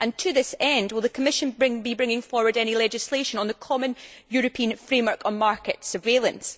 To this end, will the Commission be bringing forward any legislation on the common European framework for market surveillance?